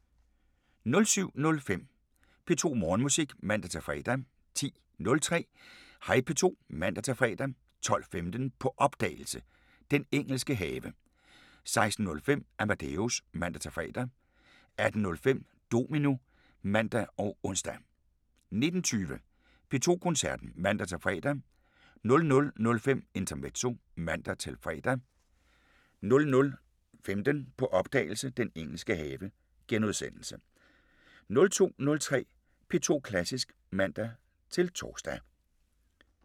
07:05: P2 Morgenmusik (man-fre) 10:03: Hej P2 (man-fre) 12:15: På opdagelse – Den engelske have 16:05: Amadeus (man-fre) 18:05: Domino (man og ons) 19:20: P2 Koncerten (man-fre) 00:05: Intermezzo (man-fre) 00:15: På opdagelse – Den engelske have * 02:03: P2 Klassisk (man-tor)